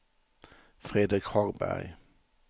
Fredrik Hagberg